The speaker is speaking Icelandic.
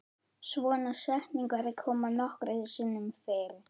Svona setningar koma nokkrum sinnum fyrir.